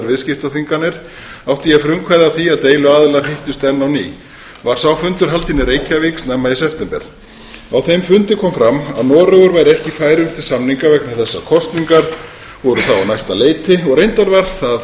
viðskiptaþvinganir átti ég frumkvæði að því að deiluaðilar hittust enn á ný var sá fundur haldinn í reykjavík snemma í september á þeim fundi kom fram að noregur væri ekki í færum til samninga vegna þess að kosningar voru þá á næsta leiti og reyndar var